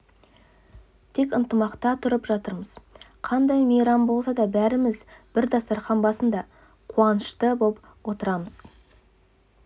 тек ынтымақта тұрып жатырмыз қандай мейрам болса да бәріміз бір дастарқан басында қуанышты боп отырамыз